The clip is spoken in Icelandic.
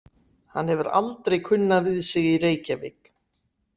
Hann hefur aldrei kunnað við sig í Reykjavík.